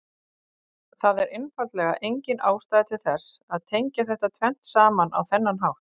Það er einfaldlega engin ástæða til þess að tengja þetta tvennt saman á þennan hátt.